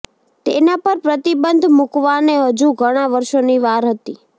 તેના પર પ્રતિબંધ મુકાવાને હજુ ઘણાં વર્ષોની વાર હતી